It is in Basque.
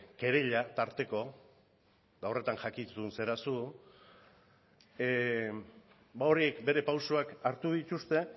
kereila tarteko eta horretan jakitun zara zu ba horiek bere pausuak hartu dituzte